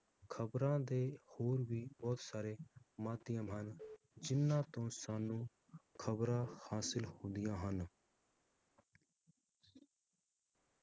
ਖਬਰਾਂ ਦੇ ਹੋਰ ਵੀ ਬਹੁਤ ਸਾਰੇ ਮਾਧਿਅਮ ਹਨ, ਜਿਹਨਾਂ ਤੋਂ ਸਾਨੂੰ ਖਬਰਾਂ ਹਾਸਿਲ ਹੁੰਦੀਆਂ ਹਨ।